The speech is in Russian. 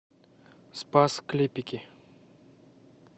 спас клепики